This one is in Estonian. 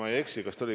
Aitäh!